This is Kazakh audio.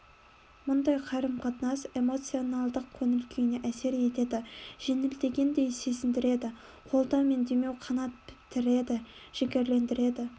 мұндай қарым-қатынас эмоциональдық көңіл-күйіне әсер етеді жеңілдегендей сезіндіреді қолдау мен демеу қанат бітіреді жігерлендіреді